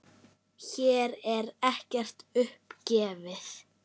Hér er ekkert upp gefið.